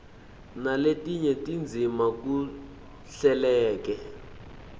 naletinye tindzima kuhleleke